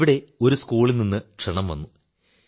അവിടെ ഒരു സ്കൂളിൽ നിന്നു ക്ഷണം വന്നു